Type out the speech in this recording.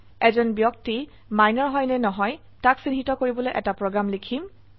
এজন ব্যক্তি মিনৰ হয় নে নহয় তাক চিহ্নিত কৰিবলৈ এটা প্ৰোগ্ৰাম লিখিম